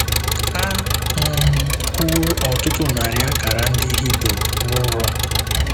A um hụwo ọtụtụ narị akara ndị Hibru nụrọ.